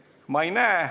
Neid ma ei näe.